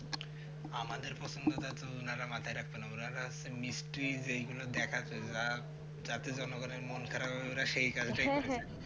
আমাদের পছন্দটা তো উনারা মাথায় রাখতো না ওনারা হচ্ছে mystry যেগুলো দেখাছেন ওরা তাতে মনে করেন মন খারাপ সেই কাজটাই করেন